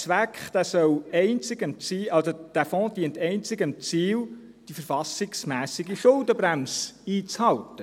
Dieser Fonds dient einzig dem Ziel, die verfassungsmässige Schuldenbremse einzuhalten.